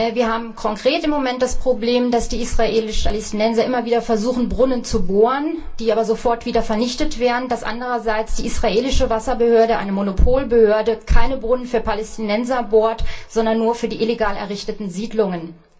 Wir haben im Moment konkret das Problem, dass die Palästinenser immer wieder versuchen, Brunnen zu bohren, die aber sofort wieder vernichtet werden, dass andererseits die israelische Wasserbehörde, eine Monopolbehörde, keine Brunnen für Palästinenser bohrt, sondern nur für die illegal errichteten Siedlungen.